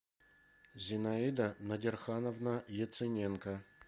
зинаида надирхановна яцененко